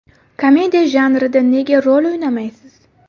Komediya janrida nega rol o‘ynamaysiz?